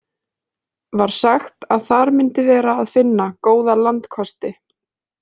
Var sagt að þar myndi vera að finna góða landkosti.